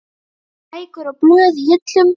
Bækur og blöð í hillum.